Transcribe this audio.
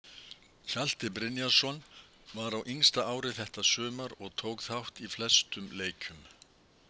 Hjalti Brynjarsson: Var á yngsta ári þetta sumar og tók þátt í flestum leikjum.